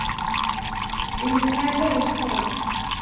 En hvað gerist þá?